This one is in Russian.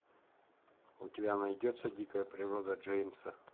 у тебя найдется дикая природа джеймса